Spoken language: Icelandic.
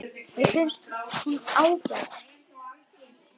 Mér finnst hún ágæt.